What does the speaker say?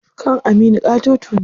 Kan Aminu ƙatoto ne.